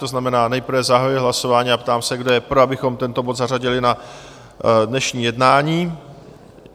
To znamená nejprve zahajuji hlasování a ptám se, kdo je pro, abychom tento bod zařadili na dnešní jednání?